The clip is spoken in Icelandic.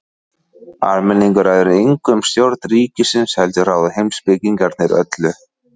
Almenningur ræður engu um stjórn ríkisins heldur ráða heimspekingarnir öllu.